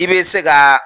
I bɛ se ka